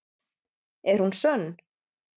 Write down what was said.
Er hún sönn?